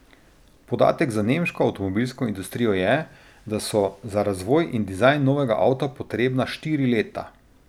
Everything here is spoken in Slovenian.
Podatek za nemško avtomobilsko industrijo je, da so za razvoj in dizajn novega avta potrebna štiri leta.